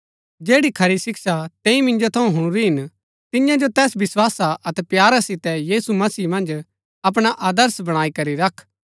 जैड़ी खरी शिक्षा तैंई मिन्जो थऊँ हुणुरी हिन तियां जो तैस विस्‍वासा अतै प्यारा सितै यीशु मसीह मन्ज अपणा आदर्श बणाई करी रख